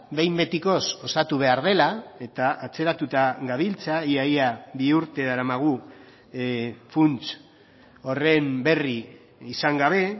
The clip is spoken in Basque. behin betikoz osatu behar dela eta atzeratuta gabiltza ia ia bi urte daramagu funts horren berri izan gabe